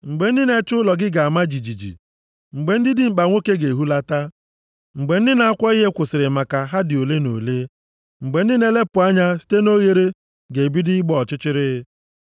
Mgbe ndị na-echebe ụlọ ga-ama jijiji, mgbe ndị dimkpa nwoke ga-ehulata, mgbe ndị na-akwọ ihe kwụsịrị maka ha dị ole na ole, mgbe ndị na-elepụ anya site nʼoghere ga-ebido ịgba ọchịchịrị,